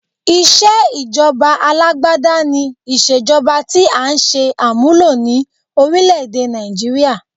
Ìṣe ìjọba Alágbádá ni Ìṣèjọba tí à ń ṣe àmúlò ní orílẹ̀ èdè Nàìjííríà?